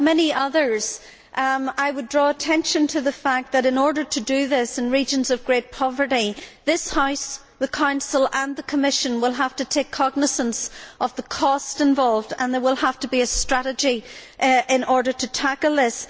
Like many others, I would draw attention to the fact that, in order for this to happen in regions of great poverty, this House, the Council and the Commission will have to take cognisance of the cost involved and there will have to be a strategy in order to tackle this.